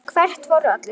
Hvert fóru allir?